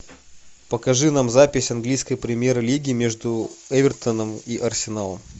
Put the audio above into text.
покажи нам запись английской премьер лиги между эвертоном и арсеналом